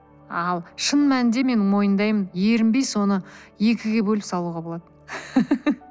ал шын мәнінде мен мойындаймын ерінбей соны екіге бөліп салуға болады